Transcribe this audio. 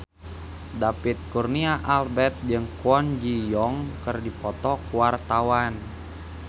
David Kurnia Albert jeung Kwon Ji Yong keur dipoto ku wartawan